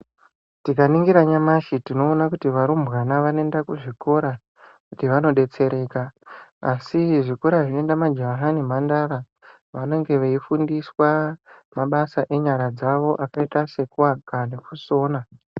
Tika ningira nyamashi tinoona kuti varumbwana vanoenda ku zvikora kuti vano detsereka asi zvikora zvino enda majaha ne mhandara vanenge vei fundiswa mabasa enyara dzavo akaita seku aka neku sona.